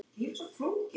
Elsa var farin fram.